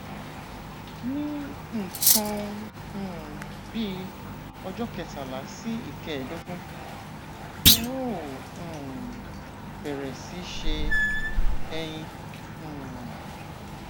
ní nǹkan um bíi ọjọ kẹtàlá sí ìkẹẹẹdógún ẹ ó um bẹrẹ síí ṣe ẹyin um